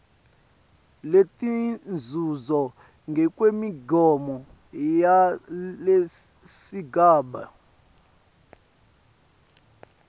letinzuzo ngekwemigomo yalesigaba